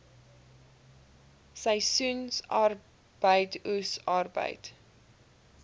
seisoensarbeid oes arbeid